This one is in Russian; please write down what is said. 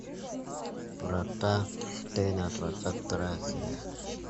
врата штейна двадцать вторая серия